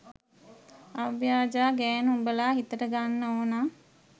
අව්‍යාජා ගෑනු උඹලා හිතට ගන්න ඕන